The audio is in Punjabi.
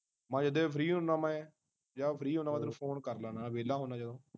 ਮੈਂ ਜਦੇ ਫ੍ਰੀ ਹੁੰਦਾ ਮੈਂ ਜਦ ਫ੍ਰੀ ਹੁੰਦਾ ਉਦੋਂ ਤੈਨੂੰ ਫੋਨ ਕਰ ਲੈਂਦਾ ਵਹਿਲਾ ਹੁੰਦਾ ਜਦੋਂ